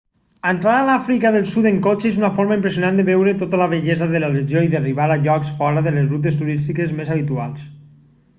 entrar a l'àfrica del sud en cotxe és una forma impressionant de veure tota la bellesa de la regió i d'arribar a llocs fora de les rutes turístiques més habituals